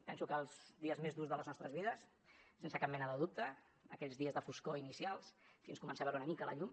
penso que els dies més durs de les nostres vides sense cap mena de dubte aquells dies de foscor inicials fins a començar a veure una mica la llum